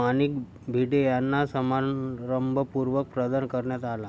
माणिक भिडे यांना समारंभपूर्वक प्रदान करण्यात आला